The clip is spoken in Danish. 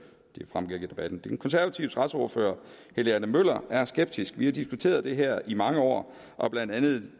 den konservative retsordfører helge adam møller er skeptisk vi har diskuteret det her i mange år og har blandt andet